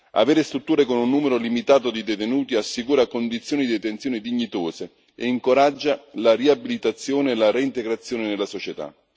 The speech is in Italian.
Avere strutture con un numero limitato di detenuti, assicura condizioni detenzione dignitose e incoraggia la riabilitazione, la reintegrazione nella società.